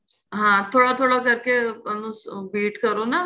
ਹਾਂ ਥੋੜਾ ਥੋੜਾ ਕਰਕੇ ਇਹਨੂੰ beet ਕਰੋ ਨਾ